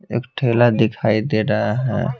एक ठेला दिखाई दे रहा है।